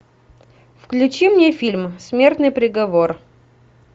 включи мне фильм смертный приговор